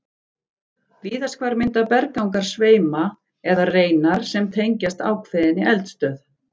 Víðast hvar mynda berggangar sveima eða reinar sem tengjast ákveðinni eldstöð.